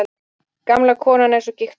Gamla konan er svo gigtveik.